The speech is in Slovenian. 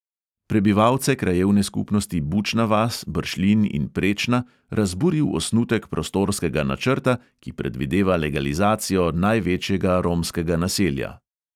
Prebivalce krajevne skupnosti bučna vas, bršljin in prečna razburil osnutek prostorskega načrta, ki predvideva legalizacijo največjega romskega naselja